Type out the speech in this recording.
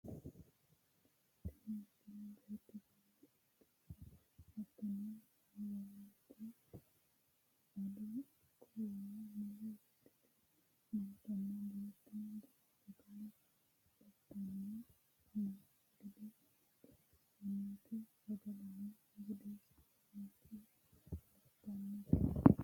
tini misile beetto sagale ittanna hattono waancaho ado ikko waa mule wodhite nootanna beettono jawa sagale ittanni noo gede xawissannote sagaleno budunnita labbannote yaate